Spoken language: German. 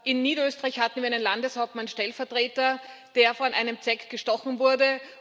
In Niederösterreich hatte wir einen Landeshauptmannstellvertreter, der von einer Zecke gestochen wurde